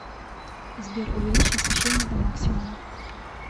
сбер увеличь освещение до максимума